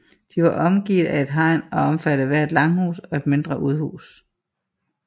De var omgivne af et hegn og omfattede hver et langhus og et mindre udhus